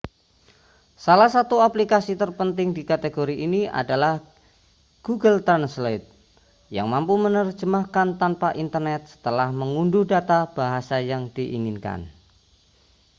salah satu aplikasi terpenting di kategori ini adalah google translate yang mampu menerjemahkan tanpa internet setelah mengunduh data bahasa yang diinginkan